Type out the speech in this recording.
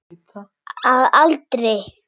Að aldrei.